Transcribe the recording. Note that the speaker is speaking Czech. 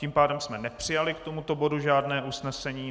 Tím pádem jsme nepřijali k tomuto bodu žádné usnesení.